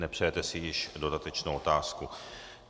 Nepřejete si již dodatečnou otázku.